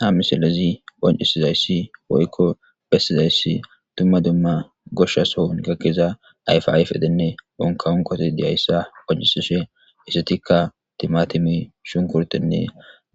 Ha misilezi phoncisizayssi poykko bessizayssi dumma dumma goshsha s ohun gakkeza ayfayf edenne unkawunkoti diyayssa poncisishe issetikka timatimi shunkurtenne